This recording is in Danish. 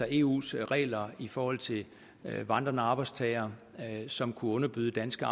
eus regler i forhold til vandrende arbejdstagere som kunne underbyde danske